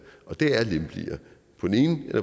og det er lempeligere